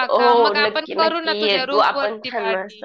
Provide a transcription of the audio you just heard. हो नक्की नक्की ये तू आपण